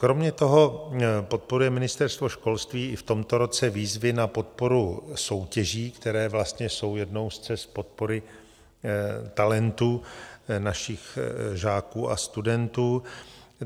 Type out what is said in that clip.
Kromě toho podporuje Ministerstvo školství i v tomto roce výzvy na podporu soutěží, které vlastně jsou jednou z cest podpory talentu našich žáků a studentů.